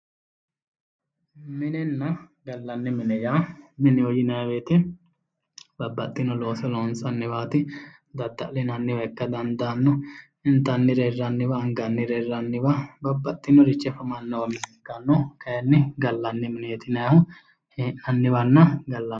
Minenna gallanni mine yaa mineho yinayi woyiite babbaxxino looso loonsanniwaati dadda'linanniwa ikka dandaanno intannire hirranniwa angannire hirranniwa babbaxxinorichi afamannowa ikka dandaanno kayeenni gallanni mineeti yinayiihua hee'nanniwanna gallanniwa